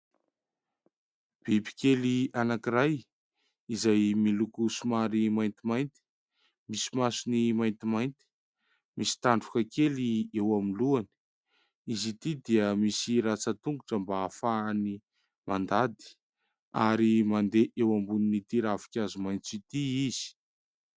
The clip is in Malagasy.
Biby kely anankiray izay miloko somary maintimainty, misy masony maintimainty, misy tandroka kely eo amin'ny lohany. Izy ity dia misy ratsan-tongotra mba hahafahany mandady ary mandeha eo ambonin'ity ravinkazo maitso ity izy.